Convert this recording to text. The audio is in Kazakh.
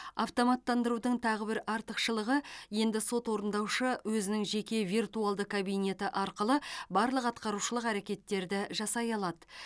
автоматтандырудың тағы бір артықшылығы енді сот орындаушы өзінің жеке виртуалды кабинеті арқылы барлық атқарушылық әрекеттерді жасай алады